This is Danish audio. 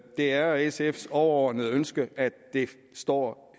det er sfs overordnede ønske at det står